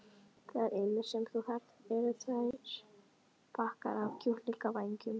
Það eina sem þú þarft eru tveir bakkar af kjúklingavængjum.